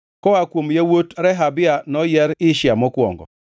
Koa kuom yawuot Rehabia noyier Ishia mokwongo.